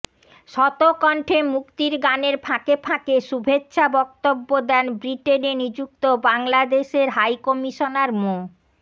শত কন্ঠে মুক্তির গানের ফাঁকে ফাঁকে শুভেচ্ছা বক্তব্য দেন ব্রিটেনে নিযুক্ত বাংলাদেশের হাইকমিশনার মো